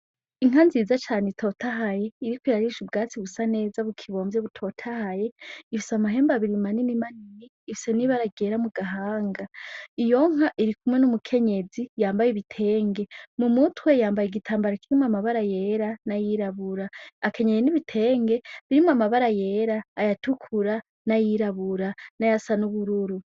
Inka nziza cane itotahaye iriko irarisha ubwatsi busa neza bukibomvye butotahaye ifise amahembu abirimanini manini ifise n'ibearagera mu gahanga iyonka iri kumwe n'umukenyezi yambaye ibitenge mu muti we yambaye igitambaro kirimwe amabara yera n'ayirabura akenyeni ni bitenge birimwo amabara yera ayatukura n'ayirabura n'ayasa n'ubururu.